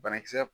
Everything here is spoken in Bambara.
Banakisɛ